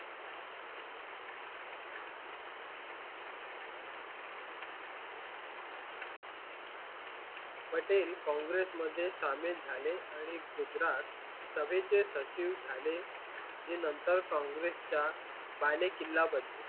पटेल काँग्रेस मध्ये सामील झाले आणि गुजरात सभेचे सचिव झाले. जे नंतर काँग्रेस च्या बालेकिल्ला बनले.